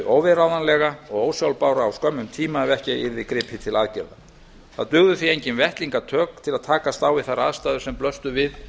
óviðráðanlega og ósjálfbæra á skömmum tíma ef ekki yrði gripið til aðgerða það dugðu því engin vettlingatök til að takast á við þær aðstæður sem blöstu við